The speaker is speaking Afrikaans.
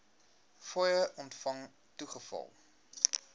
fooie ontvang toegeval